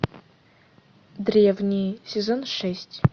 древние сезон шесть